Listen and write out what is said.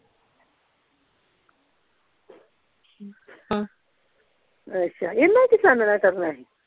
ਅੱਛਾ ਇਹਨਾਂ ਕੀ ਛਾਣਨਾ ਕਰਨਾ ਸੀ